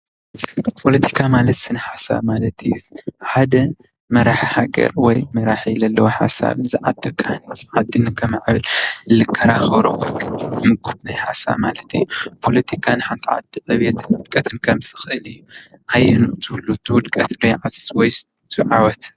ፖለቲካ ማለት ስነ ሓሳብ ማለት እዩ። ሓደ መራሒ ሃገር ወይ መራሒ ዘለዎ ሓሳብ ዓዲ ንከማዕብል ዝከራከሮ ሓሳብ ማለት እዩ ።ፖለቲካን ሓንቲ ናይ ዓዲ ዕብየትን ውድቀትን ከምፅእ ይክኣል እዩ። ኣየንኡ ትብሉ ትውድቀት ዶ ይዓዝዝ ወይስ ትዓወት?